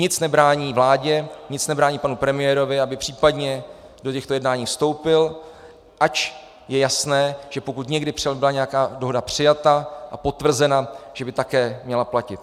Nic nebrání vládě, nic nebrání panu premiérovi, aby případně do těchto jednání vstoupil, ač je jasné, že pokud někdy byla nějaká dohoda přijata a potvrzena, že by také měla platit.